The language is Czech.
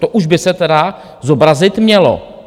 To už by se tedy zobrazit mělo.